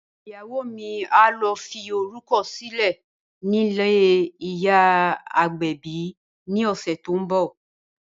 Ìyàwó mi á lọ fi orúkọ sílẹ̀ nílé ìyá agbẹ̀bi ni ọ̀sẹ̀ tó ń bọ̀